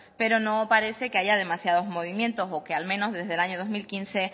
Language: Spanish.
pero no parece que haya demasiados movimientos o que al menos desde el año dos mil quince